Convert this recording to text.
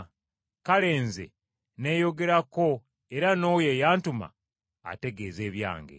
Kale Nze nneyogerako era n’oyo eyantuma ategeeza ebyange.”